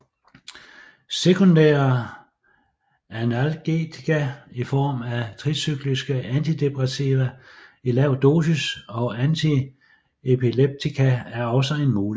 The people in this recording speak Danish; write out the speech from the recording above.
Sekundære analgetika i form af tricykliske antidepressiva i lav dosis og antiepileptika er også en mulighed